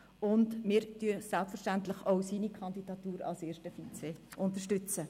Wir unterstützen selbstverständlich auch seine Kandidatur für das erste Vizepräsidium.